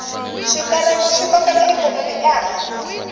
switereko swi kokela ikhonomi ehansi